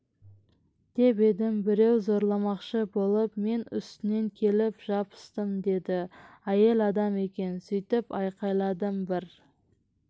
деп едім біреу зорламақшы болып мен үстінен келіп жабыстым деді әйел адам екен сөйтіп айқайладым бір